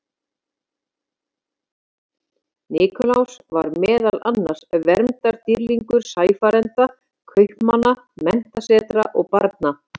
Nikulás var meðal annars verndardýrlingur sæfarenda, kaupmanna, menntasetra og barna.